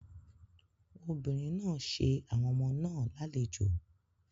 Obìnrin náà ṣe àwọn ọmọ náà lálejò.